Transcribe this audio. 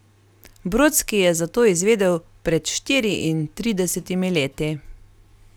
Brodski je za to izvedel pred štiriintridesetimi leti.